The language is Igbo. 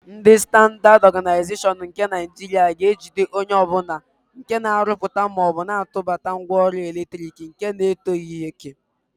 Ndị Standaad Ọganaịzeshọn nke Naịjiria ga-ejide onye ọbụla nke na-arụpụta maọbụ tụbata ngwaọrụ eletrik nke na-etozighi òkè.